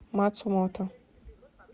мацумото